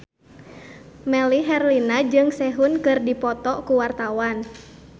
Melly Herlina jeung Sehun keur dipoto ku wartawan